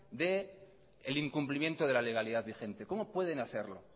del incumplimiento de la legalidad vigente cómo pueden hacerlo